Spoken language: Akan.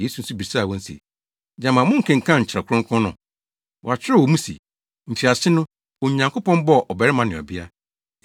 Yesu nso bisaa wɔn se, “Gyama monkenkan Kyerɛw Kronkron no? Wɔakyerɛw wɔ mu se, ‘Mfiase no, Onyankopɔn bɔɔ ɔbarima ne ɔbea.